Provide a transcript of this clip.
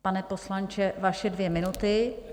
Pane poslanče, vaše dvě minuty.